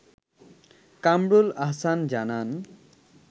কামরুল আহসান জানান